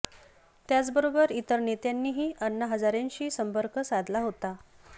याचबरोबर इतर नेत्यांनीही अण्णा हजारेंशी संपर्क साधला होता